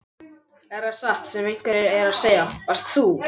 Er það satt sem einhverjir eru að segja: Varst þú.